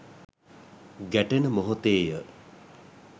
ගැටෙන මොහොතේ ය.